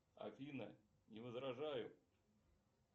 афина не возражаю